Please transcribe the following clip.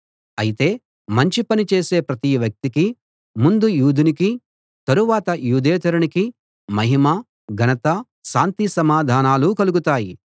అయితే మంచి పని చేసే ప్రతి వ్యక్తికి ముందు యూదునికి తరువాత యూదేతరునికి మహిమ ఘనత శాంతిసమాధానాలు కలుగుతాయి